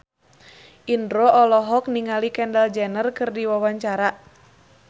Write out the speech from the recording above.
Indro olohok ningali Kendall Jenner keur diwawancara